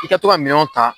I ka to ka minɛnw ta